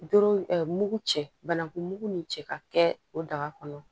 Doro mugu cɛ banankun mugu ni cɛ ka kɛ o daga kɔnɔ